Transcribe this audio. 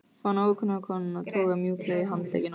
Fann ókunnu konuna toga mjúklega í handlegginn á mér